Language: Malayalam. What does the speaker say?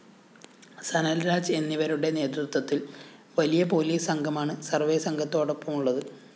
സനല്‍രാജ് എന്നിവരുടെ നേതൃത്വത്തില്‍ വലിയ പോലീസ് സംഘമാണ് സർവേ സംഘത്തോടൊപ്പമുള്ളത്